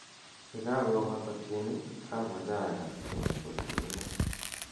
ye kakopata tieni amoche agas keny ko kiunee